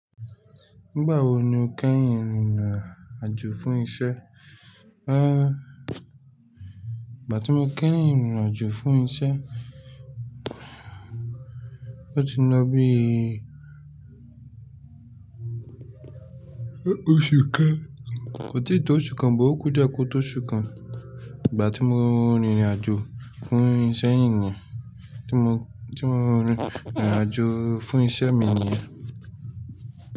Nígbà wo ni o kẹ́yin rìnrìn àjò fún iṣẹ́? Ìgbà tí mo kẹ́yin rìnrìn àjò fún iṣẹ́, ó ti ń lọ bí i Osu kan kò tíì tó oṣù kan, bọ̀ ò kú die kò tó oṣù kan. Ìgbà tí mo rìnrìn àjò fún iṣẹ́ nìyen, tí mo, tí mo ń rìnrìn àjò fún iṣẹ́ mi nìyen.